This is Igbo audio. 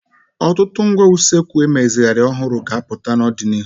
Ọtụtụ ngwá usekwu emezigharịrị ọhụrụ ga-apụta n'ọdịnihu.